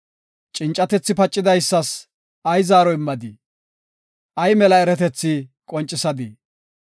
Cincatethi pacidaysas ay zore immadii? Ay mela eratethi qoncisadii?